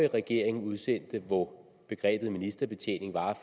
regering udsendte hvor begrebet ministerbetjening var